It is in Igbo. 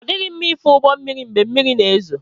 Ọ dịghị mma ife ụgbọ elu mgbe mmiri na-ezo